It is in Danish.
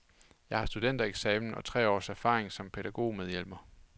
Jeg har studentereksamen og tre års erfaring som pædagogmedhjælper.